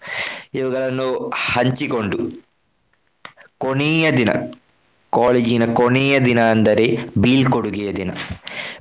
ಇವುಗಳನ್ನು ಹಂಚಿಕೊಂಡು ಕೊನೇಯ ದಿನ college ಇನ ಕೊನೇಯ ದಿನ ಅಂದರೆ ಬೀಳ್ಕೊಡುಗೆಯ ದಿನ .